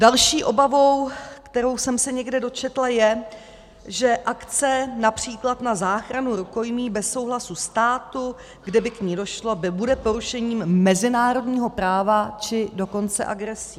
Další obavou, kterou jsem se někde dočetla, je, že akce například na záchranu rukojmí bez souhlasu státu, kde by k ní došlo, bude porušením mezinárodního práva, či dokonce agresí.